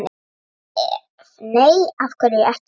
Ef nei, af hverju ekki?